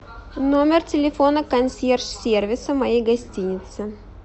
номер телефона консьерж сервиса моей гостиницы